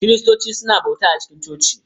Kiristoci suna bauta a cikin coci.